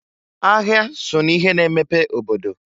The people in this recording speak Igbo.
Ahịa so n'ihe na-emepe obodo.